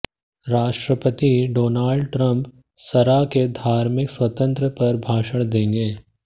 राष्ट्रपति Donald Trump संरा में धार्मिक स्वतंत्रता पर भाषण देंगे